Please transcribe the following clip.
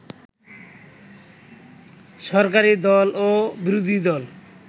সরকারি দল ও বিরোধীদল